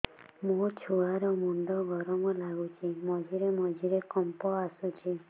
ମୋ ଛୁଆ ର ମୁଣ୍ଡ ଗରମ ଲାଗୁଚି ମଝିରେ ମଝିରେ କମ୍ପ ଆସୁଛି